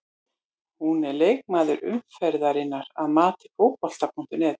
Hún er leikmaður umferðarinnar að mati Fótbolta.net.